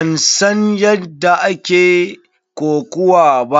Ban san yadda ake kokuwa ba.